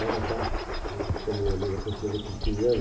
Marabá né, também ali na Conselho Crispiniano.